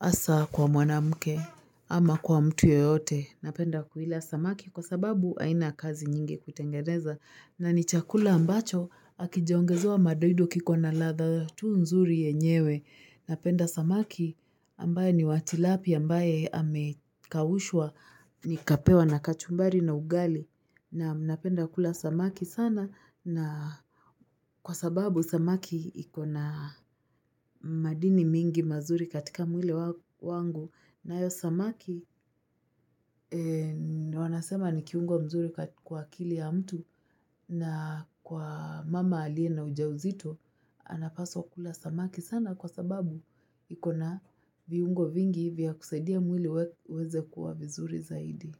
Hasa kwa mwanamke ama kwa mtu yoyote. Napenda kuila samaki kwa sababu haina kazi nyingi kutengeneza. Na ni chakula ambacho hakijaongezewa madoido kiko na ladha tu nzuri yenyewe. Napenda samaki ambaye ni wa tilapia ambaye amekaushua nikapewa na kachumbari na ugali. Naam napenda kula samaki sana na kwa sababu samaki ikona madini mingi mazuri katika mwili wangu nayo samaki wanasema ni kiungo mzuri kwa kili ya mtu na kwa mama alie na ujauzito anapaswa kula samaki sana kwa sababu ikona viungo vingi vya kusaidia mwili uweze kuwa vizuri zaidi.